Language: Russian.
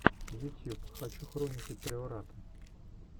ютьюб хочу хроники приората